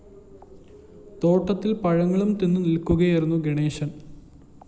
തോട്ടത്തില്‍ പഴങ്ങളും തിന്നു നില്‍ക്കുകയായിരുന്നു ഗണേശന്‍